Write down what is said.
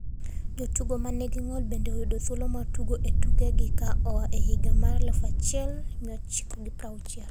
Jo tugo ma ni gi ngol bende oyudo thuolo mar tugo e tuke gi ka oa e higa mar 1960,